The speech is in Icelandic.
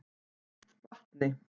Vatni